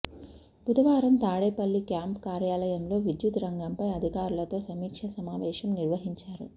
బుధవారం తాడేపల్లి క్యాంప్ కార్యాలయంలో విద్యుత్ రంగంపై అధికారులతో సమీక్ష సమావేశం నిర్వహించారు